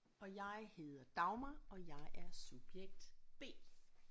Og jeg hedder Dagmar og jeg er subjekt B